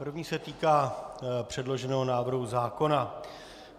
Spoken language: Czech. První se týká předloženého návrhu zákona.